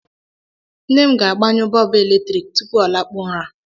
Nne m ga-agbanyụ bọọbụ eletrik tupu ọ lakpuo ụra.